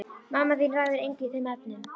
Mamma þín ræður engu í þeim efnum.